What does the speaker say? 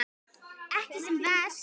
Ekki sem verst?